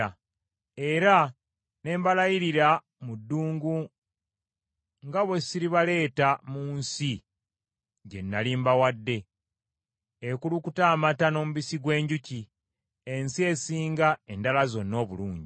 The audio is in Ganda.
Era ne mbalayirira mu ddungu nga bwe siribaleeta mu nsi gye nnali mbawadde, ekulukuta amata n’omubisi gw’enjuki, ensi esinga endala zonna obulungi,